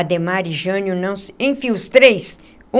Adhemar e Jânio não se... Enfim, os três.